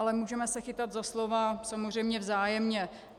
Ale můžeme se chytat za slova samozřejmě vzájemně.